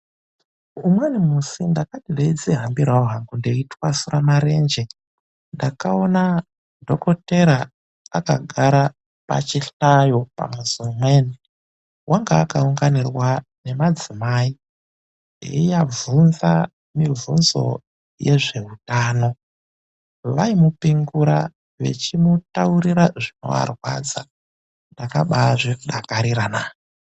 Umweni musi ,ndakati ndeidzihambirawo hangu ndeitwasura marenje ,ndakaona dhokodheya akagara pachihlayo pamuzi umweni .Wainga akaunganirwa ngemadzimai echivabvunza mibvunzo yezveutano veimupingura echivataurira zvaivarwadza .Ndakambazvidakarira naa.